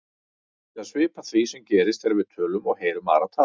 Þetta er svipað því sem gerist þegar við tölum og heyrum aðra tala.